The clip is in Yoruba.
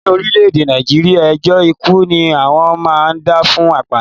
Ní orílè Nàìjíríà, ẹjọ́ ikú ni wón máa ń dá fún apàyàn.